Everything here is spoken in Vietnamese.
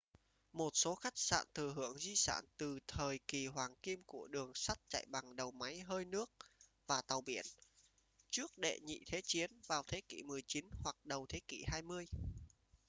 một số khách sạn thừa hưởng di sản từ thời kỳ hoàng kim của đường sắt chạy bằng đầu máy hơi nước và tàu biển trước đệ nhị thế chiến vào thế kỷ 19 hoặc đầu thế kỷ 20